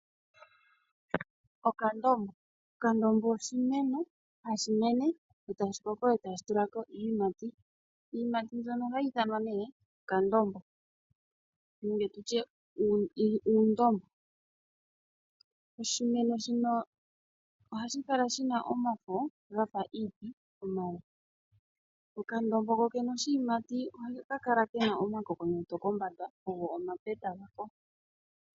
Okandombo oshimeno hashi mene etashi koko nokutulako iiyimati. Iiyimati mbyono ohayi ithanwa okandombo nenge uundombo. Okandombo kokene oshiyimati ohashi kala shina omakokonyoto kombanda ogo omapeta gako.